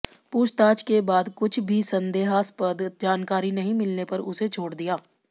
पूछताछ के बाद कुछ भी संदेहास्पद जानकारी नहीं मिलने पर उसे छोड़ दिया